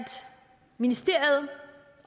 ministeriet